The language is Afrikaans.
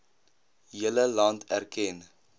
hele land erken